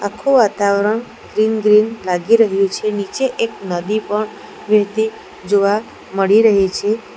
આખું વાતાવરણ green green લાગી રહ્યું છે નીચે એક નદી પણ વહેતી જોવા મળી રહી છે.